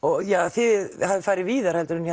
þið hafið farið víðar en